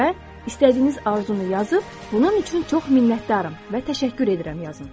Və istədiyiniz arzunu yazıb bunun üçün çox minnətdaram və təşəkkür edirəm yazın.